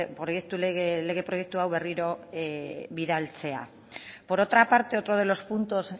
lege proiektu hau berriro bidaltzea por otra parte otro de los puntos